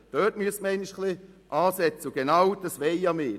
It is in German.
Dort müsste man einmal ansetzen, und genau das wollen wir tun.